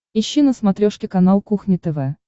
ищи на смотрешке канал кухня тв